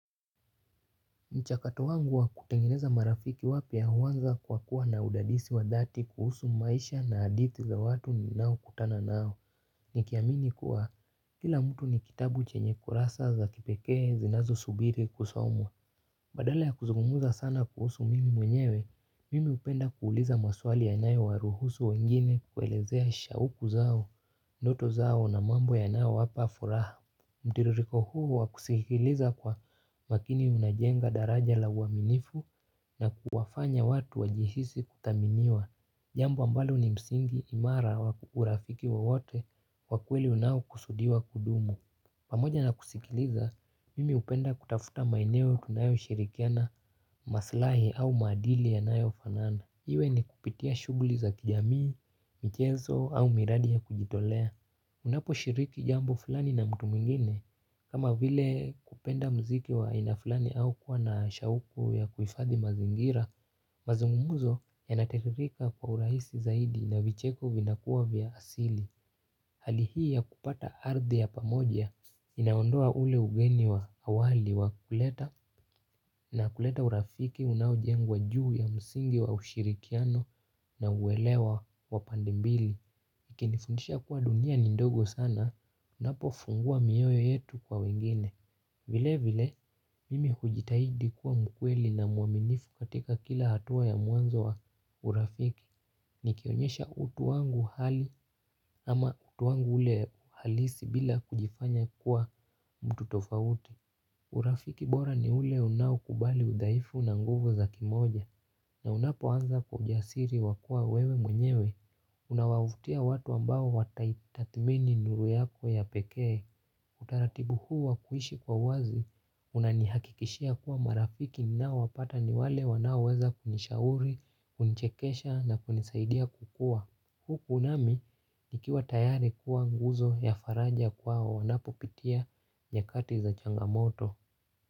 Mchakato wangu wa kutengeneza marafiki wapya huanza kwa kuwa na udadisi wa dhati kuhusu maisha na hadithi za watu ninao kutana nao nikiamini kuwa kila mtu ni kitabu chenye kurasa za kipekee zinazosubiri kusomwa. Badala ya kuzungumza sana kuhusu mimi mwenyewe, mimi hupenda kuuliza maswali yanayowaruhusu wengine kuelezea shauku zao, ndoto zao na mambo yanayowapa furaha. Mtiririko huu wa kusikiliza kwa makini unajenga daraja la uaminifu na kuwafanya watu wajihisi kuthaminiwa. Jambo ambalo ni msingi imara wa urafiki wowote wa kweli unaokusudiwa kudumu. Pamoja na kusikiliza, mimi hupenda kutafuta maeneo tunayoshirikiana maslahi au maadili yanayofanana. Iwe ni kupitia shugli za kijamii, michezo au miradi ya kujitolea. Unaposhiriki jambo fulani na mtu mwingine, kama vile kupenda muziki wa aina fulani au kuwa na shauku ya kuhifadhi mazingira, mazungumuzo yanatiririka kwa uraihisi zaidi na vicheko vinakuwa vya asili. Hali hii ya kupata ardhi ya pamoja inaondoa ule ugeni wa awali wa kuleta na kuleta urafiki unaojengwa juu ya msingi wa ushirikiano na uwelewa wa pande mbili ikinifundisha kuwa dunia ni ndogo sana, unapofungua mioyo yetu kwa wengine. Vile vile, mimi hujitahidi kuwa mkweli na mwaminifu katika kila hatua ya mwanzo wa urafiki. Nikionyesha utu wangu hali ama utu wangu ule halisi bila kujifanya kuwa mtu tofauti. Urafiki bora ni ule unaokubali udhaifu na nguvu za kimoja. Na unapoanza kwa ujasiri wa kuwa wewe mwenyewe, unawavutia watu ambao wataitathmini nuru yako ya pekee, utaratibu huu wa kuishi kwa wazi, unanihakikishia kuwa marafiki ninao wapata ni wale wanaoweza kunishauri, kunichekesha na kunisaidia kukua. Huku nami nikiwa tayari kuwa nguzo ya faraja kwao wanapopitia nyakati za changamoto.